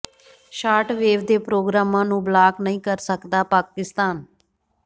short wave ਦੇ ਪ੍ਰੋਗਰਾਮਾਂ ਨੂੰ ਬਲਾਕ ਨਹੀਂ ਕਰ ਸਕਦਾ ਪਾਕਿਸਤਾਨ